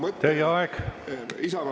Teie aeg!